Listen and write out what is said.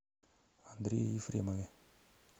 андрее ефремове